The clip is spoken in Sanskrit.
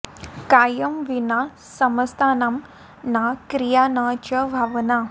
कायं विना समस्तानां न क्रिया न च भावना